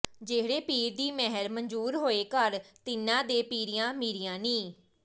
ਜਿਹੜੇ ਪੀਰ ਦੀ ਮਿਹਰ ਮੰਜ਼ੂਰ ਹੋਏ ਘਰ ਤਿੰਨ੍ਹਾਂ ਦੇ ਪੀਰੀਆ ਮੀਰੀਆਂ ਨੀ